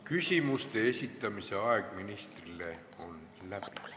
Küsimuste esitamise aeg ministrile on läbi.